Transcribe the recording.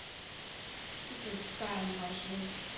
сикрет стайл маршрут